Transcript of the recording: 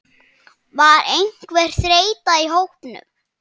Var einhver þreyta í hópnum?